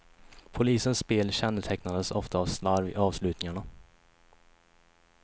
Polisens spel kännetecknades ofta av slarv i avslutningarna.